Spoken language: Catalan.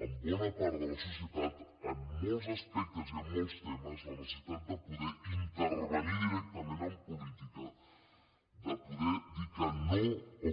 en bona part de la societat en molts aspectes i en molts temes la necessitat de poder intervenir directament en política de poder dir que no o